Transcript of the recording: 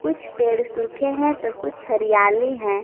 कुछ पेड़ सुखा हैं तो कुछ हरियाली है।